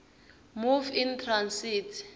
move in transit